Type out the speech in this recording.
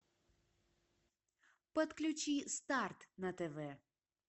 подключи старт на тв